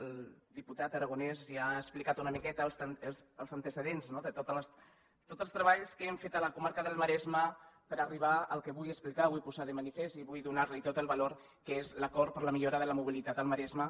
el diputat aragonès ja ha explicat una miqueta els antecedents de tots els treballs que hem fet a la comarca del maresme per arribar al que vull explicar vull posar lo de manifest i vull donar li tot el valor que és l’acord per la millora de la mobilitat al maresme